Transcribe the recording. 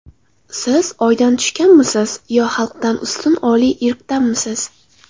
Siz oydan tushganmisiz, yo xalqdan ustun oliy irqdanmisiz?